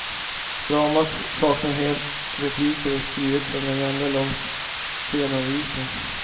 Dramat saknar helt repliker och är skrivet som en enda lång scenanvisning.